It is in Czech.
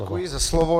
Děkuji za slovo.